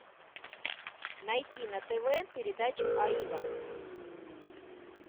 найти на тв передачу аива